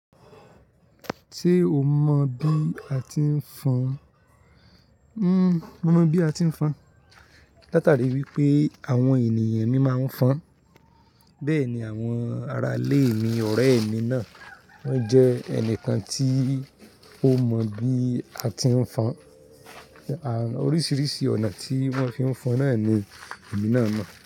Se o mọ bí a ti ń fọn, n-- mo mọ bí a ti ń fọn. Látari wípé àwọn ènìyàn mi máa ń fọn, bẹ́ẹ̀ ni àwọn arálè mi, ọ̀rẹ́ mi náà wọ́n jẹ́ ẹnìkan tí ó mọ bí a ti ń fọn, oríṣiríṣi ọ̀nà tí wọ́n fi ń fọn náà ni èmi náà mọ̀